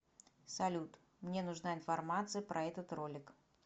салют мне нужна информация про этот ролик